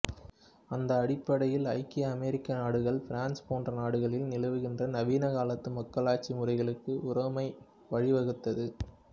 அந்த அடிப்படையில் ஐக்கிய அமெரிக்க நாடுகள் பிரான்சு போன்ற நாடுகளில் நிலவுகின்ற நவீன காலத்து மக்களாட்சி முறைகளுக்கு உரோமை வழிவகுத்தது